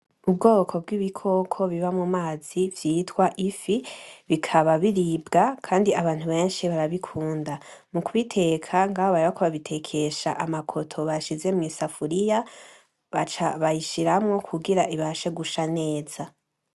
Ubwoko bw'ibikoko biba mumazi vyitwa ifi bikaba biribwa Kandi Abantu benshi barabikunda. mukubiteka ngaho bariko babitekesha amakoto bashize mw'isafuriya baca bayishiramwo kugira ibashe gusha neza.